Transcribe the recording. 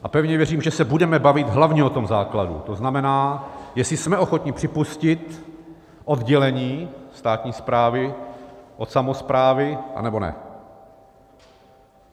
A pevně věřím, že se budeme bavit hlavně o tom základu, to znamená, jestli jsme ochotni připustit oddělení státní správy od samosprávy, anebo ne.